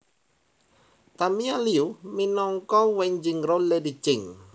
Tamia Liu minangka Wen Jingruo Lady Jing